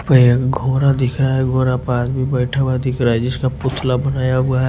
घोरा दिख रहा है घोरा पास में बैठा हुआ दिख रहा है जिसका पुतला बनाया हुआ है।